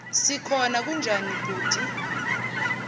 sikhona kunjani bhuti